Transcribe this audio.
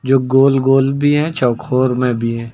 जो गोल गोल भी है चौकोर में भी है।